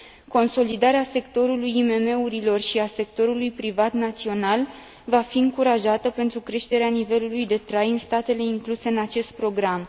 Consolidarea sectorului IMM urilor și a sectorului privat național va fi încurajată pentru creșterea nivelului de trai în statele incluse în acest program.